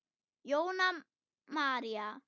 Jóna María.